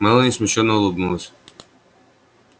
мелани смущённо улыбнулась